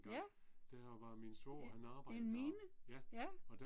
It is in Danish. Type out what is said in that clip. Ja. En mine? Ja